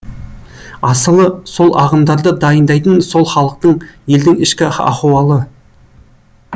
асылы сол ағымдарды дайындайтын сол халықтың елдің ішкі ахуалы